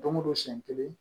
Don go don siɲɛ kelen